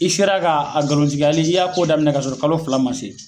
I sera k'a nkalontigiyali, i y'a ko daminɛ k'a sɔrɔ kalo fila ma se.